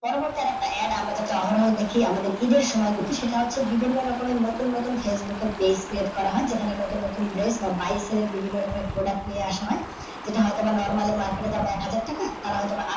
পরবর্তী একটা AD আমরা অহরহ ই দেখি, আমাদের ঈদের সময় দেখি সেতক হচ্ছে বিভিন্ন রকমের নতুন নতুন facebook এর page create করা হয় যেখানে নতুন নতুন dress বা by sale এর বিভিন্ন রকমের product নিয়ে আসা হয়। যেটা হয়তো বা normally মার্কেটের দাম এক হাজার টাকা, তারা হয়তো বা